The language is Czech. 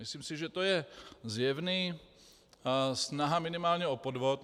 Myslím si, že to je zjevná snaha minimálně o podvod.